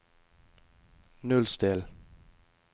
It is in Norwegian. nullstill